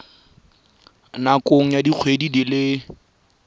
nakong ya dikgwedi di le